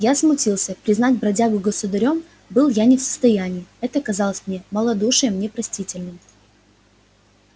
я смутился признать бродягу государём был я не в состоянии это казалось мне малодушием непростительным